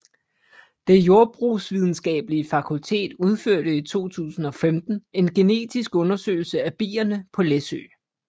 Det Jordbrugsvidenskabelige Fakultet udførte i 2005 en genetisk undersøgelse af bierne på Læsø